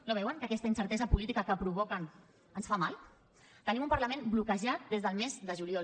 no veuen que aquesta incertesa política que provoquen ens fa mal tenim un parlament bloquejat des del mes de juliol